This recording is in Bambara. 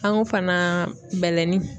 An ko fana bɛlɛnin.